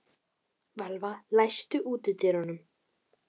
Valva, læstu útidyrunum.